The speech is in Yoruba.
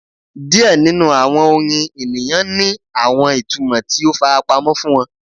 Diẹ ninu awọn orin eniyan ni awọn itumọ ti o farapamọ fun wọn